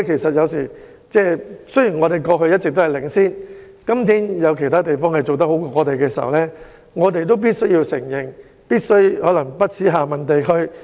雖然香港過去一直領先，但有其他地方比我們做得好時，我們就必須承認和反思。